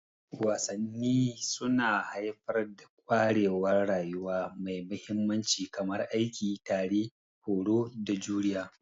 Wasanni suna haifar da ƙwarewar rayuwa mai mahimmanci kamar aiki tare, horo, da juriya.